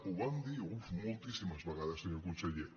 ho vam dir uf moltíssimes vegades senyor conseller